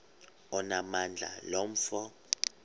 onamandla lo mfo